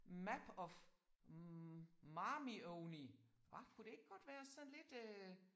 Map of matrimony hva kunne det ikke godt være sådan lidt øh